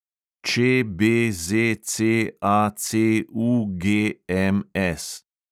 ČBZCACUGMS